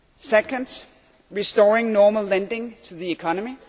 Second, restoring normal lending to the economy.